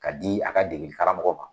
Ka di a ka degeli karamɔgɔ man.